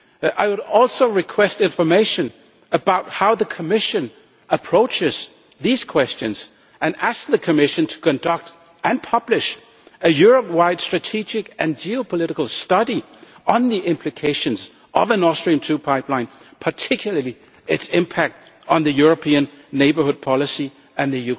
I would also like to know how the Commission approaches these questions and to ask it to conduct and publish a Europe wide strategic and geopolitical study on the implications of an Austrian pipeline, particularly its impact on the European Neighbourhood Policy and the